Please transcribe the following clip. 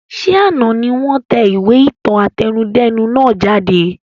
Ṣé àná ni wọn tẹ ìwé ìtàn àtẹnudẹ́nu nàá jáde?